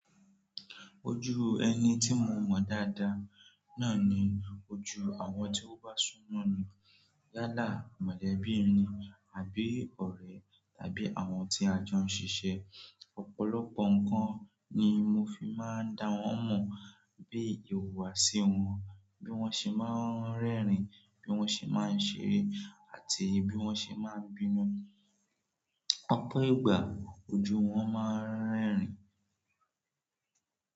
Ojú ẹni tí mo mọ dáadáa náà ni ojú àwọn tí ó bá súnmọ́ni yálà mọ̀lẹ́bí ni àbí ọ̀rẹ́ tàbí àwọn tí a jọ ń ṣiṣẹ́. Ọ̀pọ̀lọpọ̀ nǹkan ni mo fi máa ń da wọ́n mọ̀, bí ìhùwàsí wọn, bí wọ́n ṣe máa ń rẹ́rìn-ín, bí wọ́n ṣe máa ń ṣeré àti bí wọ́n ṣe máa ń bínú. Ọ̀pọ̀ ìgbà ojú wọn máa ń rẹ́rìn-ín.